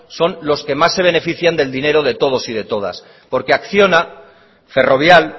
son los que más se benefician del dinero de todos y de todas porque acciona ferrovial